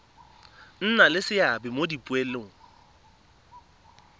nna le seabe mo dipoelong